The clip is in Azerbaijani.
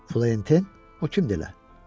“Florentin, o kimdir elə?”